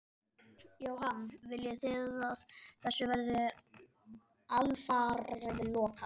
Jóhann: Viljið þið að þessu verði alfarið lokað?